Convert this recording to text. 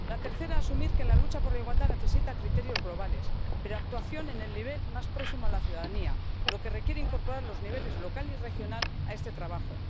La tercera, asumir que la lucha por la igualdad necesita criterios globales pero actuación en el nivel más próximo a la ciudadanía, lo que requiere incorporar los niveles local y regional a este trabajo.